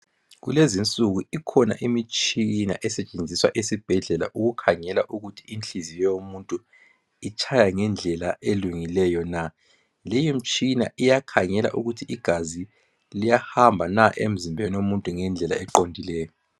Kulezinsuku ikhona imitshina esetshenziswa esibhedlela ukukhangela ukuthi inhliziyo yomuntu itshaya ngendlela elungileyo na .Leyomtshina iyakhangela ukuthi igazi liyahamba na emzimbeni womuntu ngendlela eqondileyo .